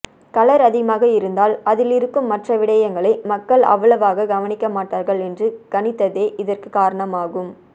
colour அதிகமாக இருந்தால் அதிலிருக்கும் மற்ற விடயங்களை மக்கள் அவ்வளவாக கவனிக்க மாட்டார்கள் என்று கணித்ததே இதற்குக் காரணமாகும்